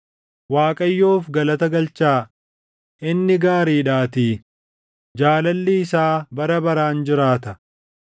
Waaqayyoof galata galchaa; inni gaariidhaatii; jaalalli isaa bara baraan jiraata.